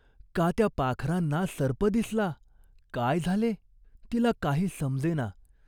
का त्या पाखरांना सर्प दिसला ? काय झाले? तिला काही समजेना.